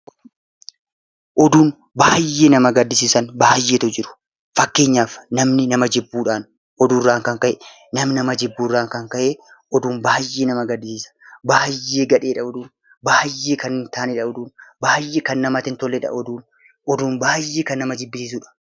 Oduun baay'ee nama gaddisiisan baay'eetu jiru. Fakkeenyaaf namni nama jibbuudhaan oduurraan kan ka'e, namni jibbuurraan kan ka'e oduun baay'ee nama gaddisiisa! Baay'ee gadheedha oduun! Baay'ee kan hin taanedha oduun! Baay'ee kan namatti hin tolledha oduun! Oduun baay'ee kan nama jibbisiisudha!